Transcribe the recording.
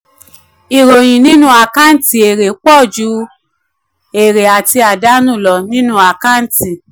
ìròyìn nínú àkáǹtì èrè pọ̀ ju àkáǹtì èrè àti àdánù.